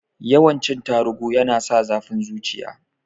Yawan cin tarugu yana sa zafin zuciya